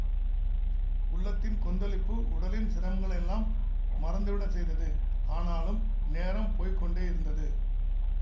உள்ளத்தின் கொந்தளிப்பு உடலின் சிரமங்களையெல்லாம் மறந்து விடச்செய்தது ஆனாலும் நேரம் போய் கொண்டே இருந்தது